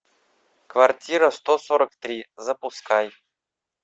квартира сто сорок три запускай